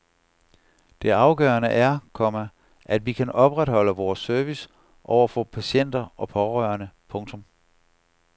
Det afgørende er, komma at vi kan opretholde vores service over for patienter og pårørende. punktum